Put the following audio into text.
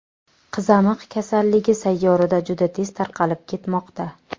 Qizamiq kasalligi sayyorada juda tez tarqalib ketmoqda.